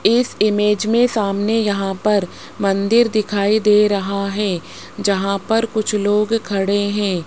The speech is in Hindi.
इस इमेज में सामने यहां पर मंदिर दिखाई दे रहा है जहां पर कुछ लोग खड़े है।